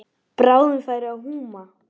Bráðum færi að húma.